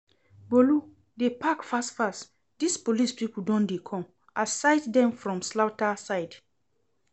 Bolu, dey pack fast fast dis police people don dey come, I sight dem for slaughter side